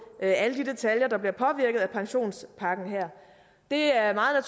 alle de detaljer der bliver påvirket af pensionspakken her det er meget